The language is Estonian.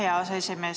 Aitäh, hea aseesimees!